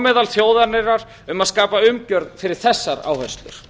meðal þjóðarinnar um að skapa umgjörð fyrir þessar áherslur